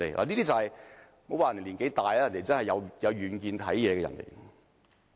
不要看他年紀大，他的確很有遠見。